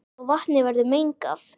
svo vatnið verður mengað.